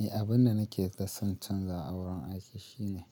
Eh, abun da nake son canza a wurin aiki shine,